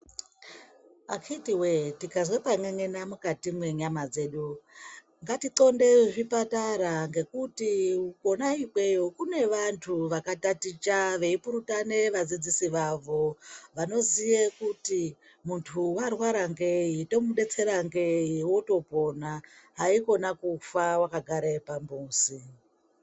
Akhitiwe, tikazwe pan'en'ena mukati mwenyama dzedu ndati nxonde zvipatara kona ikweyo kune vantu vakataticha veipurutane vadzidzisi vavo vanoziye kuti muntu warwara ngei tomudetsera ngei wotopona haikona kufa wakagare pamuzi.